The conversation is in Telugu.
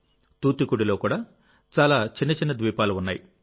తూత్తుకుడిలో కూడా చాలా చిన్నచిన్న ద్వీపాలుఉన్నాయి